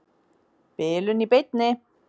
Bilun í beinni.